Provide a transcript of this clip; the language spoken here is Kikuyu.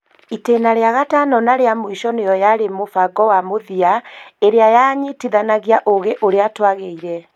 Itĩna rĩa gatano na rĩa mũico nĩyo yarĩ mũbango wa mũthia, ĩrĩa ya nyitithanagia ũũgĩ ũrĩa twagĩire